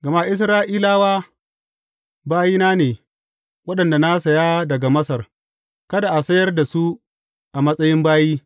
Gama Isra’ilawa bayina ne, waɗanda na saya daga Masar, kada a sayar da su a matsayin bayi.